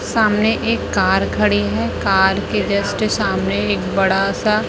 सामने एक कार खड़ी है कार के जस्ट सामने एक बड़ा सा--